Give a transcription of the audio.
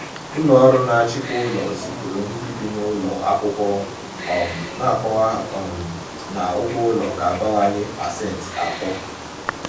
Ụlọ ọrụ na-achịkwa ụlọ zipụrụ ndị bi n’ụlọ akwụkwọ um na-akọwa um na ụgwọ ụlọ ga-abawanye pasent atọ.